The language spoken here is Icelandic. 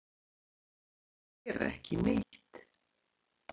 til að gera ekki neitt